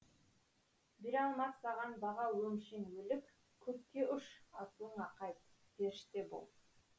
бере алмас саған баға өңшең өлік көкке ұш асылыңа қайт періште бол